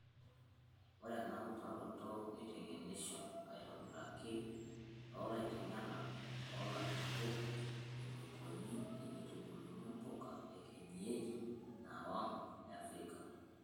Ore ena utaroto neiteng'enisho aitobiraki tolaiteng'enak oolajurok eneikoni teneitubuluni mpuka ekienyeji naing'wa Afrika.